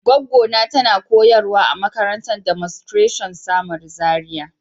gwaggo na tana koyarwa a makarantan Demonstration samaru, Zaria.